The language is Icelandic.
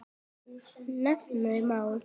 Nefna má